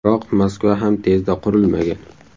Biroq Moskva ham tezda qurilmagan.